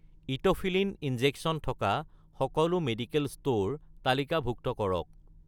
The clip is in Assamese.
ইট’ফিলিন ইনজেকচন থকা সকলো মেডিকেল ষ্ট'ৰ তালিকাভুক্ত কৰক